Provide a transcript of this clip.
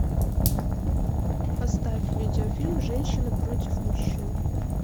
поставь видеофильм женщины против мужчин